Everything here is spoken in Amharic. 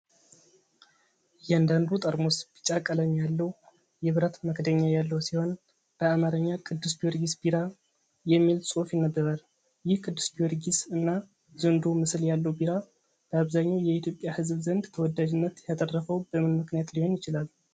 እያንዳንዱ ጠርሙስ ቢጫ ቀለም ያለው የብረት መክደኛ ያለው ሲሆን፣ በአማርኛ "ቅዱስ ጊዮርጊስ ቢራ" የሚል ጽሑፍ ይነበባል። ይህ ቅዱስ ጊዮርጊስ እና ዘንዶው ምስል ያለው ቢራ፣ በአብዛኛው የኢትዮጵያ ህዝብ ዘንድ ተወዳጅነት ያተረፈው በምን ምክንያት ሊሆን ይችላል?